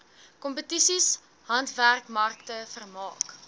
kompetisies handwerkmarkte vermaak